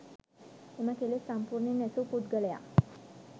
එම කෙලෙස් සම්පුර්ණයෙන් නැසූ පුද්ගලයා